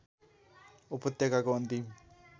उपत्यकाको अन्तिम